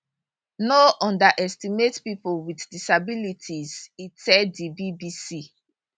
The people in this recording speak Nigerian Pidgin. no underestimate pipo wit disabilities e tell di bbc